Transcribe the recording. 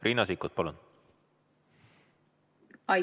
Riina Sikkut, palun!